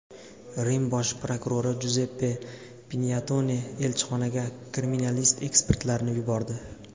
Rim bosh prokurori Juzeppe Pinyatone elchixonaga kriminalist-ekspertlarni yubordi.